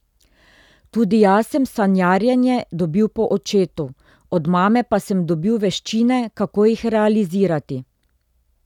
Tudi jaz sem sanjarjenje dobil po očetu, od mame pa sem dobil veščine, kako jih realizirati.